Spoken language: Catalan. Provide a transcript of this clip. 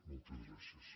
moltes gràcies